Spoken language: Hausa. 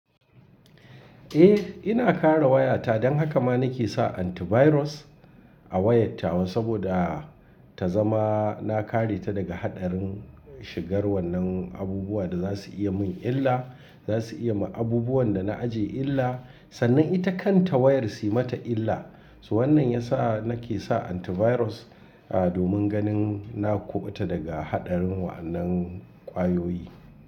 Eh ina kare wayata don haka ma nake sa antivirus a wayan tawa saboda ta zama na kareta daga haɗarin shigar wannan abubuwa da za su iya yi min illa, za su iya yi ma abubuwan da na ajiye illa sannan ita kanta wayar suyi mata illa. Toh wannan yasa nake sa antivirus a domin ganin na kuɓuta daga haɗarin wannan ƙwayoyi.